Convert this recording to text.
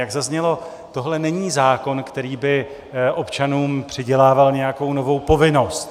Jak zaznělo, tohle není zákon, který by občanům přidělával nějakou novou povinnost.